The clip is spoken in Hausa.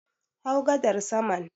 Hau gadar saman